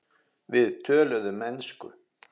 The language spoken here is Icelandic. Við töluðum ensku.